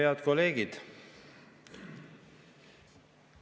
Head kolleegid!